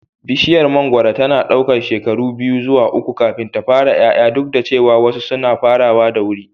Bishiyar mangoro tana ɗaukar shekara biyu zuwa uku kafin ta fara ƴaƴa, duk da cewa wasu suna farawa da wuri.